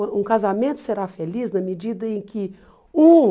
Um casamento será feliz na medida em que um...